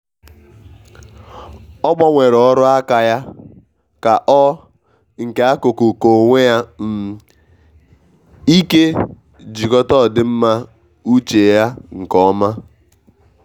ọ gbanwere ọrụ aka ya ka ọ nke akuku k'onwe um ike jikota odimma uche ya nke oma